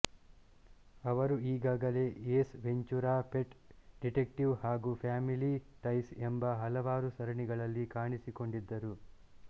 ಅವರು ಆಗಾಗಲೇ Ace Ventura pet detective ಹಾಗೂ ಫ್ಯಾಮಿಲಿ ಟೈಸ್ ಎಂಬ ಹಲವಾರು ಸರಣಿಗಳಲ್ಲಿ ಕಾಣಿಸಿಕೊಂಡಿದ್ದರು